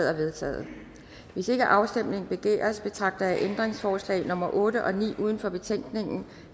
er vedtaget hvis ikke afstemning begæres betragter jeg ændringsforslag nummer otte og ni uden for betænkningen